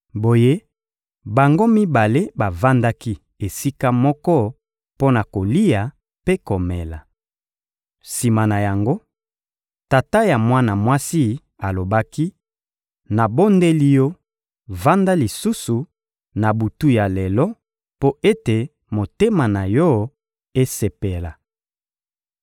Boye, bango mibale bavandaki esika moko mpo na kolia mpe komela. Sima na yango, tata ya mwana mwasi alobaki: «Nabondeli yo, vanda lisusu, na butu ya lelo, mpo ete motema na yo esepela.»